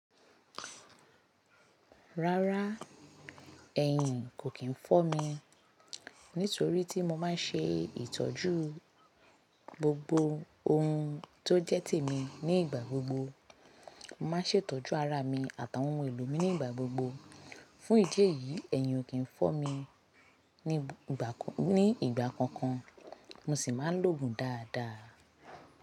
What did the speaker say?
Rárá, ẹ̀hìn kò kín fọ́ mi nítorí tí mo máa ń ṣe ìtọ́jú gbogbo ohun tó jẹ́ tèmi nígbà gbogbo. Mo máa ń ṣètọ́jú ara mi àtàwọn ohun èlò mi nígbà gbogbo. Fún ìdí èyí, ẹ̀yìn ò kì n fọ́ mi ní ìgbà kankan, mo sì ń ma lo gun dáadáa.